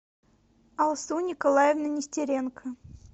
алсу николаевна нестеренко